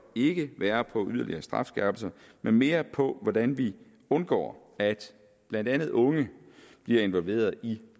ikke være på yderligere strafskærpelser men mere på hvordan vi undgår at blandt andet unge bliver involveret i